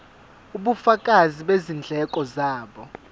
ubufakazi bezindleko zabo